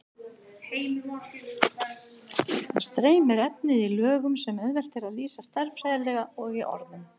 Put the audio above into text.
Þá streymir efnið í lögum sem auðvelt er að lýsa stærðfræðilega og í orðum.